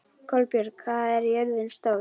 Kolbjörg, hvað er jörðin stór?